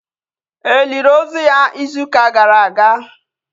E lili ozu ya izu ụka gara aga?